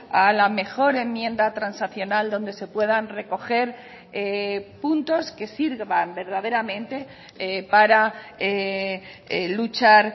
a la mejor enmienda transaccional donde se puedan recoger puntos que sirvan verdaderamente para luchar